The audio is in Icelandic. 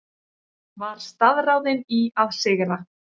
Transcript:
Var staðráðin í að sigra.